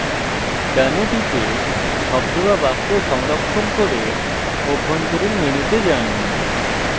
done এ টিপে শব্দ বা বাক্য সংরক্ষণ করে অভ্যন্তরীণ মেনুতে যান